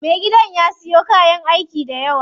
Me gidan ya siyo kayan aiki dayawa.